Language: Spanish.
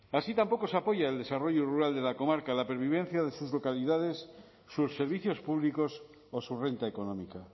así tampoco se apoya el desarrollo rural de la comarca la pervivencia de sus localidades sus servicios públicos o su renta económica